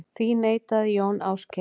Því neitaði Jón Ásgeir.